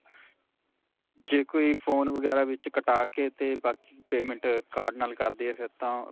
ਜੇ ਕੋਈ phone ਵਗੈਰਾ ਵਿੱਚ ਕਟਾਕੇ 'ਤੇ ਬਾਕੀ payment card ਨਾਲ ਕਰਦੀਏ ਫਿਰ ਤਾਂ.